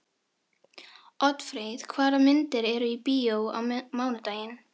Oddfreyr, hvaða myndir eru í bíó á mánudaginn?